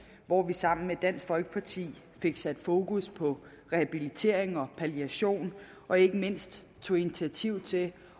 hvor vi sammen med dansk folkeparti fik sat fokus på rehabilitering og palliation og ikke mindst tog initiativ til